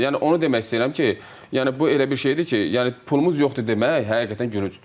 Yəni onu demək istəyirəm ki, yəni bu elə bir şeydir ki, yəni pulumuz yoxdur demək həqiqətən gülüncdür.